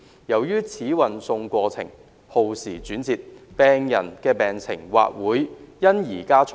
由於此運送過程轉折耗時，病人的病情或會因而加重。